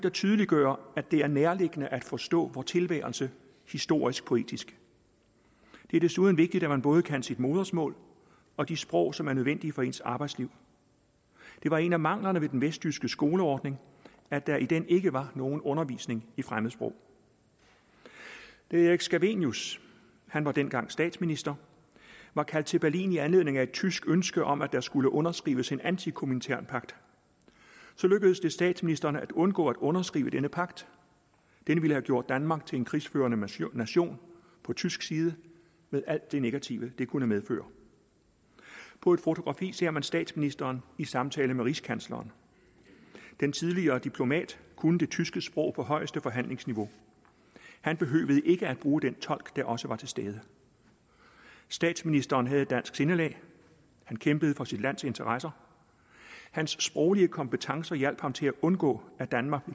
at tydeliggøre at det er nærliggende at forstå vor tilværelse historisk poetisk det er desuden vigtigt at man både kan sit modersmål og de sprog som er nødvendige for ens arbejdsliv det var en af manglerne ved den vesttyske skoleordning at der i den ikke var nogen undervisning i fremmedsprog da erik scavenius han var dengang statsminister var kaldt til berlin i anledning af et tysk ønske om at der skulle underskrives en antikominternpagt lykkedes det statsminister scavenius at undgå at underskrive denne pagt det ville have gjort danmark til en krigsførende nation nation på tysk side med alt det negative det kunne medføre på et fotografi ser man statsministeren i samtale med rigskansleren den tidligere diplomat kunne det tyske sprog på højeste forhandlingsniveau han behøvede ikke at bruge den tolk der også var til stede statsminister scavenius havde et dansk sindelag han kæmpede for sit lands interesser og hans sproglige kompetencer hjalp ham til at undgå at danmark